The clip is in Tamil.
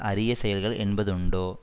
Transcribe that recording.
அரிய செயல்கள் என்பது உண்டோ